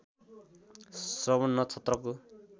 श्रवण नक्षत्रको